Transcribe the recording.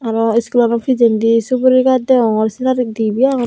aro schoolanw pichendi suguri gaas deyongor sinari gaas dibey agon.